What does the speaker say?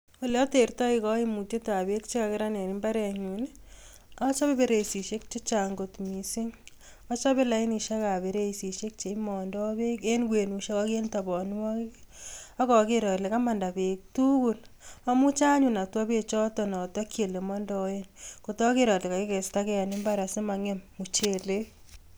Ole atertoi kaimutietab beek che kakerak en imbarenyun ii, achobe bereisisiek che chang kot mising, achobe lainisiekab bareisisiek cheimondo beek en kwenusiek ak en tabanwokik, ak aker ale kamanda beek tugul. Amuche anyun atwa beechoto atokyi ole mondoen kot aker ale kaikestakei en imbar asi mangem muchelek